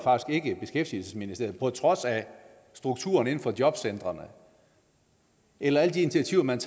beskæftigelsesministeriet på trods af strukturen inden for jobcentrene eller alle de intiativer man